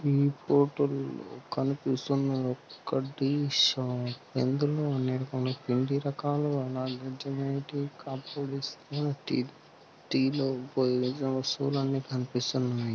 ఈ ఫోటో లో కనిపించుతున దుకాణం ఇందులో అన్ని రకాల తినటి టీకప్స్ కనిపిస్తున్నాయి